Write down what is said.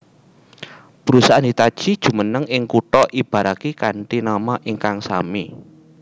Perusahaan Hitachi jumeneng ing kutha Ibaraki kanthi nama ingkang sami